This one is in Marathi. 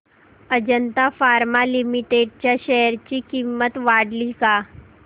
अजंता फार्मा लिमिटेड च्या शेअर ची किंमत वाढली का